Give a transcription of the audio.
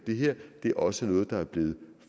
det her det er også noget der er blevet